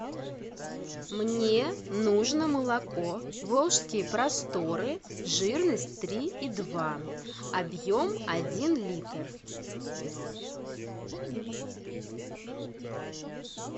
мне нужно молоко волжские просторы жирность три и два объем один литр